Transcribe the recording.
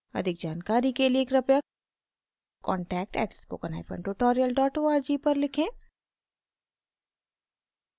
अधिक जानकारी के लिए कृपया contact @spokentutorial org पर लिखें